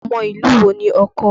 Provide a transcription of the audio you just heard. Ọmọ ìlú wo ni ọkọ?